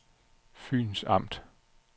Fyns Amt